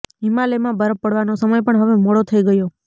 હિમાલયમાં બરફ પડવાનો સમય પણ હવે મોડો થઈ ગયો